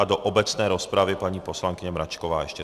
A do obecné rozpravy paní poslankyně Mračková ještě.